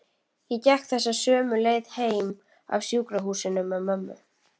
Ég gekk þessa sömu leið heim af sjúkrahúsinu með mömmu.